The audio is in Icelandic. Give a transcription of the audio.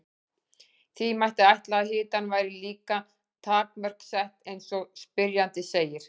Því mætti ætla að hitanum væri líka takmörk sett eins og spyrjandi segir.